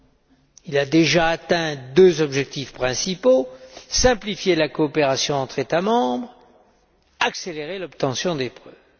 Ainsi, il a déjà atteint deux objectifs principaux simplifier la coopération entre États membres et accélérer l'obtention des preuves.